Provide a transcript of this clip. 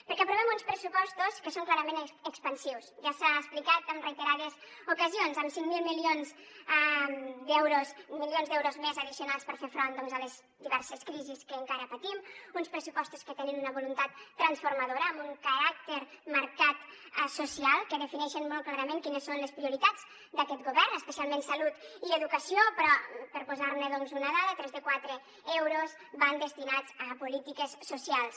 perquè aprovem uns pressupostos que són clarament expansius ja s’ha explicat en reiterades ocasions amb cinc mil milions d’euros més addicionals per fer front doncs a les diverses crisis que encara patim uns pressupostos que tenen una voluntat transformadora amb un marcat caràcter social que defineixen molt clarament quines són les prioritats d’aquest govern especialment salut i educació però per posar ne doncs una dada tres de quatre euros van destinats a polítiques socials